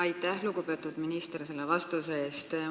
Aitäh, lugupeetud minister, selle vastuse eest!